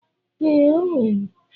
Ee, o nwere.